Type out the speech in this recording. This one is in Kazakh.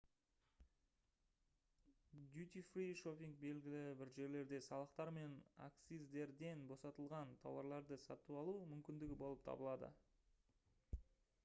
дютифри шоппинг белгілі бір жерлерде салықтар мен акциздерден босатылған тауарларды сатып алу мүмкіндігі болып табылады